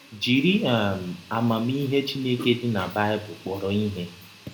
Jiri um amamihe Chineke dị na Baịbụl kpọrọ ihe.